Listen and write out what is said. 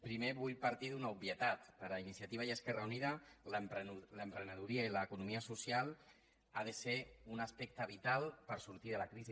primer vull partir d’una obvietat per a iniciativa i esquerra unida l’emprenedoria i l’economia social ha de ser un aspecte vital per sortir de la crisi